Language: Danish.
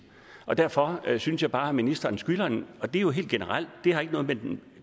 derfor synes jeg bare at ministeren skylder en det er jo helt generelt det har ikke noget med den